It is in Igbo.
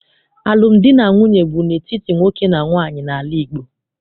Alụmdi na nwunye bụ n'etiti nwoke na nwaanyị n'ala Igbo.